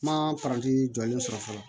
Ma paranti jɔlen sɔrɔ fɔlɔ